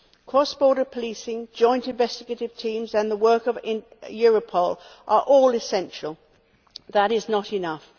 Cross border policing, joint investigative teams and the work of Europol are all essential, but not enough.